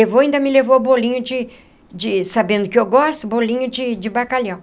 Levou e ainda me levou bolinho de de, sabendo que eu gosto, bolinho de de bacalhau.